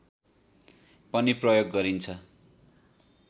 पनि प्रयोग गरिन्छ